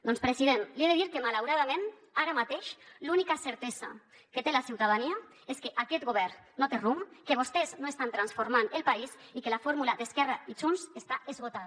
doncs president li he de dir que malauradament ara mateix l’única certesa que té la ciutadania és que aquest govern no té rumb que vostès no estan transformant el país i que la fórmula d’esquerra i junts està esgotada